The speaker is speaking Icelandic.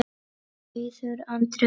Auður Andrea.